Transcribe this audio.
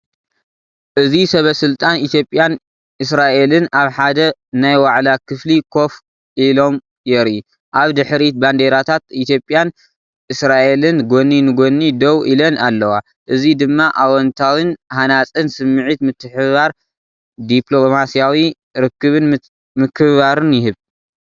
እዚ ሰበ-ስልጣን ኢትዮጵያን እስራኤልን ኣብ ሓደ ናይ ዋዕላ ክፍሊ ኮፍ ኢሎም የርኢ። ኣብ ድሕሪት ባንዴራታት ኢትዮጵያን እስራኤልን ጎኒ ንጎኒ ደው ኢለን ኣለዋ። እዚ ደማ ኣወንታዊን ሃናጽን ስምዒት ምትሕብባር ዲፕሎማስያዊ ርክብን ምክብባርን ይህብ።